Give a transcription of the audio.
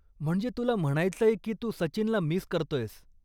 म्हणजे तुला म्हणायचंय की तू सचिनला मिस करतोयस.